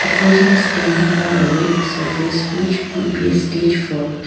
The person is standing on a red surface which could be a stage floor.